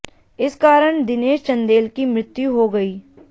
इस कारण दिनेश चंदेल की मृत्यु हो गई